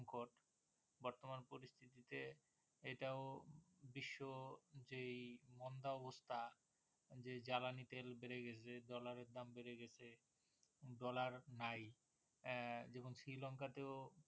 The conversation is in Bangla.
এটাও বিশ্ব যেই মন্দা অবস্থা যে জ্বালানি তেল বেরে গেছে Dollar এর দাম বেরে গেছে Dollar নাই আহ Sri Lanka তেও